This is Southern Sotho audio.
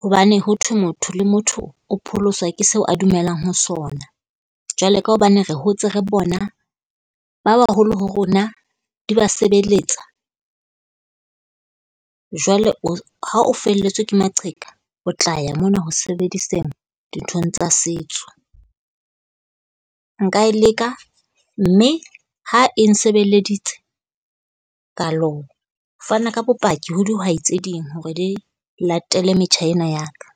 hobane ho thwe motho le motho o pholoswa ke seo a dumelang ho sona. Jwale ka hobane re hotse re bona ba baholo ho rona di ba sebeletsa. Jwale o ha o felletswe ke maqheka, o tla ya mona ho sebediseng dinthong tsa setso. Nka e leka, mme ha e nsebeleditse ka lo fana ka bopaki ho dihwai tse ding hore di latele metjha ena ya ka.